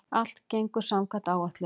Allt gengur samkvæmt áætlun